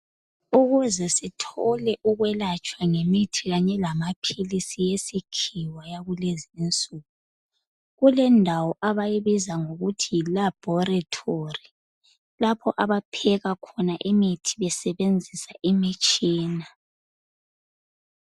Ukuze sithole ukwelatshwa ngemithi kanye lamaphilisi esikhiwa yakulezinsuku kulendawo abayibiza ngokuthi yiLaboratory lapho abapheka khona imithi besebenzisa imitshina.